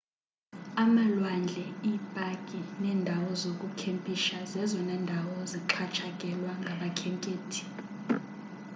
amalwandle iipaki neendawo zokukhempisha zezona ndawo zixhatshakelwa ngabakhenkethi